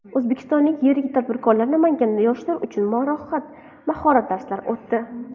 O‘zbekistonlik yirik tadbirkorlar Namanganda yoshlar uchun mahorat darslari o‘tdi.